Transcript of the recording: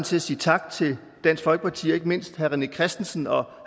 til at sige tak til dansk folkeparti og ikke mindst herre rené christensen og